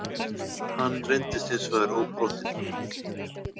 Hann reyndist hins vegar óbrotinn